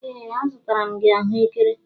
Ee a zụtara m gị ahụekere.